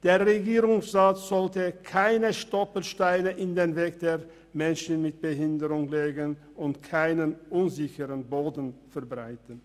Der Regierungsrat sollte keine Stolpersteine in den Weg der Menschen mit einer Behinderung legen und ihnen keinen unsicheren Boden bereiten.